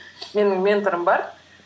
менің менторым бар